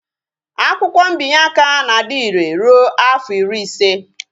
Akwụkwọ mbinye aka na-adire rụọ afọ ịrị ịse